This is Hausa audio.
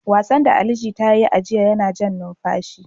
Wasan da Ali Jita ya yi a jiya yana jan numfashi.